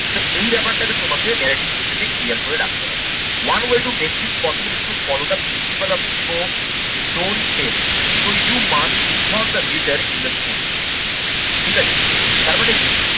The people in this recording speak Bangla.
তো এই ব্যাপারটাকে তোমাকে narrative essay তে clear করে রাখতে হবে। one way to next possible to follow the principal of show don't tell. So you must involve the reader in the story. ঠিক আছে। তার মানে কি?